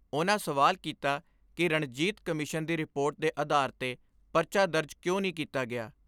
ਉਨ੍ਹਾਂ ਸਵਾਲ ਕੀਤਾ ਕਿ ਰਣਜੀਤ ਕਮਿਸ਼ਨ ਦੀ ਰਿਪੋਰਟ ਦੇ ਆਧਾਰ 'ਤੇ ਪਰਚਾ ਦਰਜ਼ ਕਿਉਂ ਨੀ ਕੀਤਾ ਗਿਆ।